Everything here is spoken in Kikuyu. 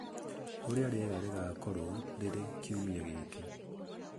ũrĩa rĩera rĩgaakorũo rĩrĩ kiumia giki